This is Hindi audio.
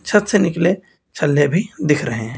छत से निकले छल्ले भी दिख रहे हैं।